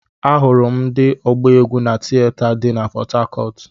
Ahụrụ m ndị ọgba egwu na tieta dị na pọthakọọtu.